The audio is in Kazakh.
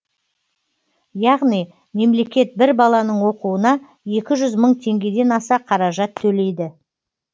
яғни мемлекет бір баланың оқуына екі жүз мың теңгеден аса қаражат төлейді